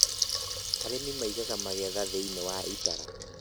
Arĩmi maigaga magetha thĩini wa itara